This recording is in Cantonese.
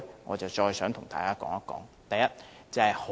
我想和大家談談這一點。